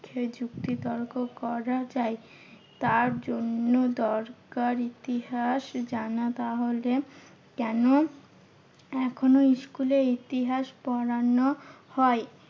যুক্তি তর্ক করা যায় তার জন্য দরকার ইতিহাস জানা। তাহলে কেন এখনো school এ ইতিহাস পড়ানো হয়?